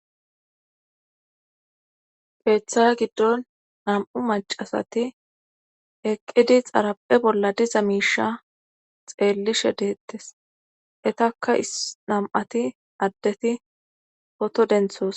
keeththaya giddon nam7u macasati eqqidi xaraphe bolla diza miisha xeellishe deettes etakka is nam7ati addeti poto denthoos